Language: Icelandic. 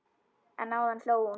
En áðan hló hún.